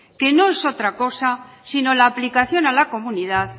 que no es otra cosa sino la aplicación a la comunidad